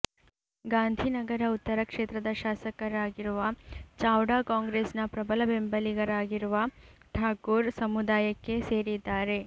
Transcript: ಗಾಂಧಿನಗರ ಉತ್ತರ ಕ್ಷೇತ್ರದ ಶಾಸಕರಾಗಿರುವ ಚಾವ್ಡಾ ಕಾಂಗ್ರೆಸ್ನ ಪ್ರಬಲ ಬೆಂಬಲಿಗರಾಗಿರುವ ಠಾಕೂರ್ ಸಮುದಾಯಕ್ಕೆ ಸೇರಿದ್ದಾರೆ